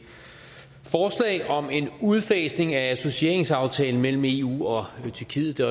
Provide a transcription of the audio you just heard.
forslag om en udfasning af associeringsaftalen mellem eu og tyrkiet det